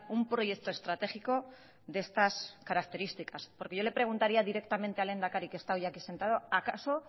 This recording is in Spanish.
un proyecto estratégico de estas características porque yo le preguntaría directamente al lehendakari que está hoy aquí sentado acaso